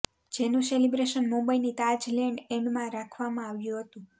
જેનું સેલિબ્રેશન મુંબઈની તાજ લેન્ડ્સ એન્ડમાં રાખવામાં આવ્યું હતું